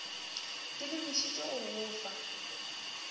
di lebišitšwe go go fa